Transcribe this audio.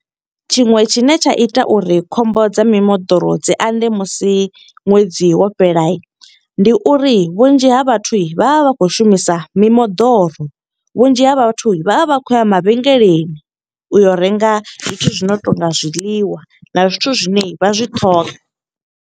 Tshiṅwe tshine tsha ita uri khombo dza mimoḓoro dzi anḓe musi ṅwedzi wo fhela. Ndi uri vhunzhi ha vhathu vha vha vha khou shumisa mimoḓoro. Vhunzhi ha vhathu vha vha vha khou ya mavhengeleni, u yo renga zwithu zwi no tonga zwiḽiwa na zwithu zwine vha zwi ṱhoga.